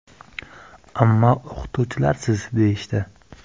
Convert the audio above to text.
Ammo o‘qituvchilarsiz, deyishdi.